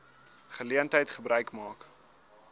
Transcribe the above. geleentheid gebruik maak